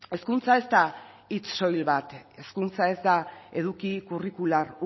hezkuntza ez da hitz soil bat hezkuntza ez da eduki curricular